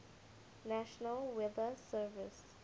national weather service